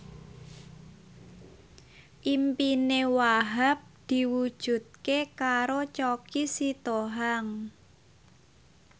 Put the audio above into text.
impine Wahhab diwujudke karo Choky Sitohang